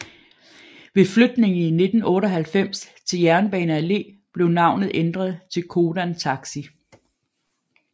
Ved flytningen i 1998 til Jernbane Allé blev navnet ændret til Codan Taxi